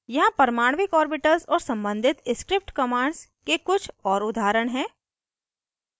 यहाँ परमाणविक ऑर्बिटल्स और सम्बंधित script commands के कुछ और उदाहरण हैं